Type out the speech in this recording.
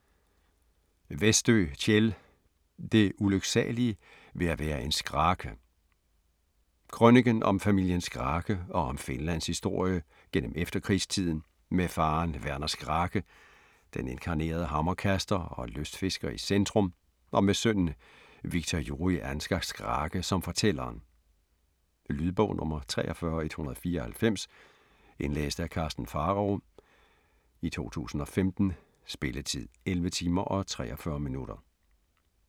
Westö, Kjell: Det ulyksalige ved at være en Skrake Krøniken om familien Skrake og om Finlands historie gennem efterkrigstiden, med faderen Werner Skrake, den inkarnerede hammerkaster og lystfisker i centrum, og med sønnen Wiktor Juri Ansgar Skrake som fortælleren. Lydbog 43194 Indlæst af Karsten Pharao, 2015. Spilletid: 11 timer, 43 minutter.